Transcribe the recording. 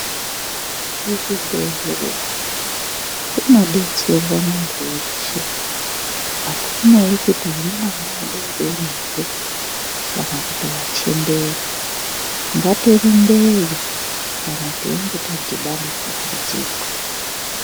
Kuzvibhedhlera kunobetserwa muntu weshe. Hakunei kuti uri mwana mudori-dori here kana kuti wachembera. Ngatirumbeyo kana teinge tadhibana nedambudziko.